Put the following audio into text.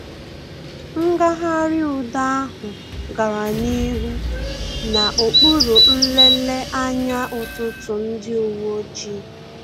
Ngagharị udo ahụ gara n'ihu na okpuru nlele anya ọtụtụ ndị uwe ojii